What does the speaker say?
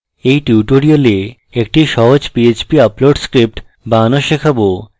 in tutorial একটি সহজ php upload script বানানো শেখাবো